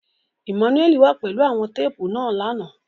Emmanuel wà pẹlu awọn teepu náa làná